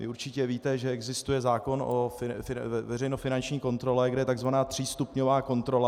Vy určitě víte, že existuje zákon o veřejnofinanční kontrole, kde je tzv. třístupňová kontrola.